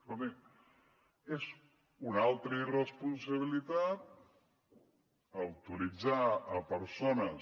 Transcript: escoltin és una altra irresponsabilitat autoritzar persones